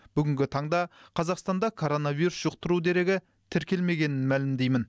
бүгінгі таңда қазақстанда коронавирус жұқтыру дерегі тіркелмегенін мәлімдеймін